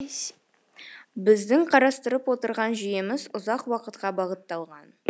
біздің қарастырып отырған жүйеміз ұзақ уақытқа бағытталған